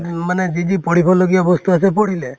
মানে যি তি পঢ়িব লগা বস্তু আছিলে পঢ়িলে